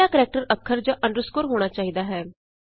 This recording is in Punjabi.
ਪਹਿਲਾ ਕਰੈਕਟਰ ਅੱਖਰ ਜਾਂ ਅੰਡਰਸਕੋਰ ਹੋਣਾ ਚਾਹੀਦਾ ਹੈ